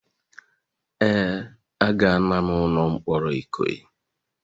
Ee, agala'm ụlọ mkpọrọ Ikoyi.